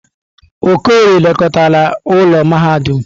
Okorie lekọtara ụlọ mahadum.